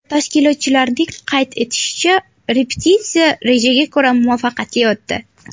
Tashkilotchilarning qayd etishicha, repetitsiya rejaga ko‘ra muvaffaqiyatli o‘tdi.